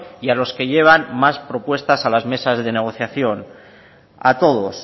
y a los que llevan más propuestas a las mesas de negociación a todos